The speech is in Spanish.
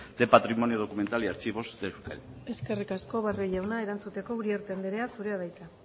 de patrimonio documental y archivos de euskadi eskerrik asko barrio jauna erantzuteko uriarte andrea zurea da hitza